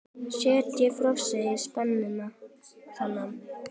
Setjið frosið spínat saman við.